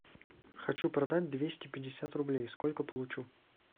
хочу продать двести пятьдесят рублей сколько получу